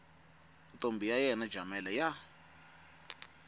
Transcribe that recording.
ntombi ya yena jamela ya